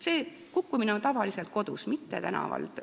See juhtub tavaliselt kodus, mitte tänaval.